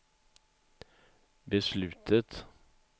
beslutet